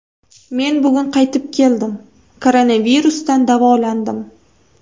Men bugun qaytib keldim, koronavirusdan davolandim.